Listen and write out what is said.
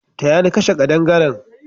Taya ni kashe kadangaren!